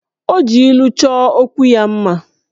O ji ilu choo okwu ya mma